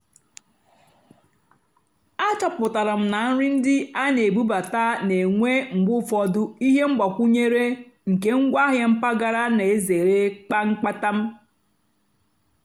àchọ́pụ́tárá m nà nrì ndí á nà-èbúbátá nà-ènwé mgbe ụ́fọ̀dụ́ íhé mgbàkwúnyéré nkè ngwáàhịá mpàgàrà nà-èzèré kpàmkpámtà.